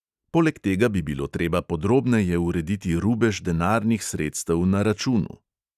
Poleg tega bi bilo treba podrobneje urediti rubež denarnih sredstev na računu.